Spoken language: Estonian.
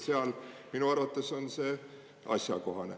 Seal minu arvates on see asjakohane.